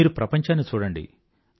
మీరు ప్రపంచాన్ని చూడండి